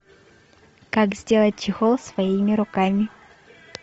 как сделать чехол своими руками